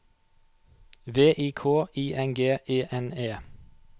V I K I N G E N E